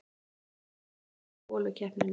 Meistarinn missir af holukeppninni